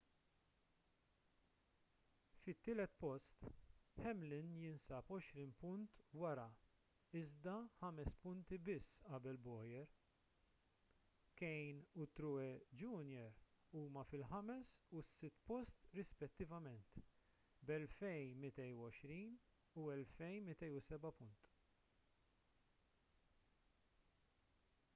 fit-tielet post hamlin jinsab għoxrin punt wara iżda ħames punti qabel bowyer. kahne u truex jr. huma fil-ħames u s-sitt post rispettivament b’2,220 u 2,207 punt